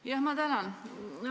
Jah, ma tänan!